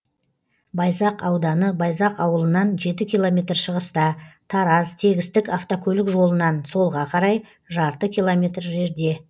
байзақ ауданы байзақ ауылынан жеті километр шығыста тараз тегістік автокөлік жолынан солға қарай жарты километр жерде